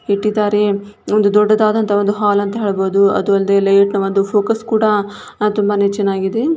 ಇಟ್ಟಿದ್ದಾರೆ-- ಒಂದು ದೊಡ್ಡದಾದಂತಹ ಒಂದು ಹಾಲ್ ಅಂಥ ಹೇಳ್ಬೋಹುದು. ಅದು ಅಲ್ದೆ ಲೈಟ್ನ ಒಂದು ಫೋಕಸ್ ಕೂಡ ಹಾ ತುಂಬಾನೆ ಚೆನ್ನಾಗಿದೆ.